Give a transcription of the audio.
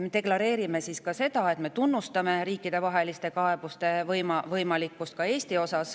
Me deklareerime, et me tunnustame võimalust esitada riikidevahelisi kaebusi ka Eesti kohta.